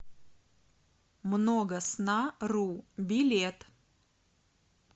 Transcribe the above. многоснару билет